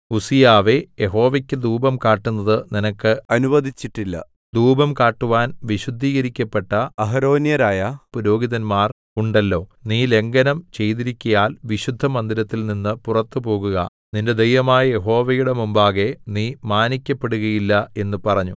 ഉസ്സീയാവേ യഹോവയ്ക്ക് ധൂപം കാട്ടുന്നത് നിനക്ക് അനുവദിച്ചിട്ടില്ല ധൂപം കാട്ടുവാൻ വിശുദ്ധീകരിക്കപ്പെട്ട അഹരോന്യരായ പുരോഹിതന്മാർ ഉണ്ടല്ലോ നീ ലംഘനം ചെയ്തിരിക്കയാൽ വിശുദ്ധമന്ദിരത്തിൽ നിന്ന് പുറത്ത് പോകുക നിന്റെ ദൈവമായ യഹോവയുടെ മുമ്പാകെ നീ മാനിക്കപ്പെടുകയില്ല എന്ന് പറഞ്ഞു